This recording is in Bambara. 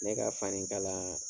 Ne ka fanikalan